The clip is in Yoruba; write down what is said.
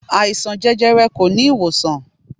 Àìsàn jẹjẹrẹ kò ní ìwòsàn.